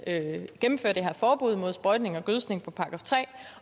at gennemføre det her forbud mod sprøjtning og gødskning på § tre